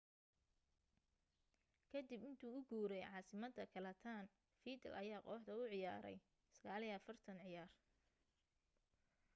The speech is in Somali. ka dib intuu u guuray caasimadda catalan vidal ayaa kooxda u ciyaaray 49 ciyaar